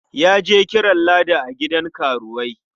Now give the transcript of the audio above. Ya je kiran Ladi a gidan karuwai.